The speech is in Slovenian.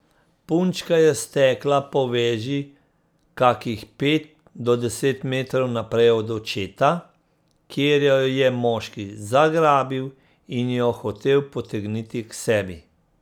Punčka je stekla po veži kakih pet do deset metrov naprej od očeta, kjer jo je moški zagrabil in jo hotel potegniti k sebi.